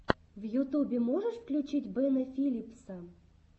в ютубе можешь включить бена филипса